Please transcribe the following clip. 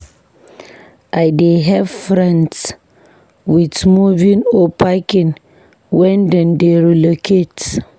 I dey help friends with moving or packing wen dem dey relocate.